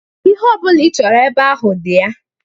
Ihe ọbụla ị chọrọ ebe ahụ dị ya.